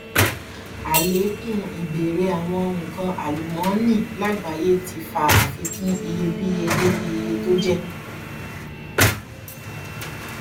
àlékún ìbéèrè àwọn nǹkan alúmọnì lágbàáyé ti fa àfikún iyebíyé lórí iye tó jẹ